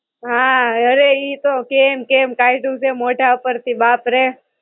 હાં, અરે ઈ તો કેમ કેમ કાયઢૂ છે મોઢા ઉપર થી બાપ રે!